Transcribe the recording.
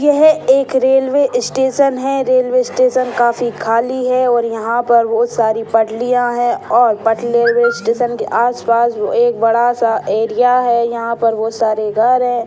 यह एक railway station है रेलवे स्टेशन काफी खाली है और यहाँ पर बहुत सारी पटरियाँ हैं और पटरी रेलवे स्टेशन -के आस पास एक बड़ा सा एरिया है यहाँ पर बहुत होत सारे घर है।